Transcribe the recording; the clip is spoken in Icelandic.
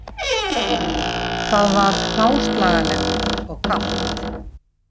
Það var hráslagalegt og kalt